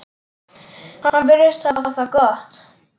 Hann virðist hafa það gott.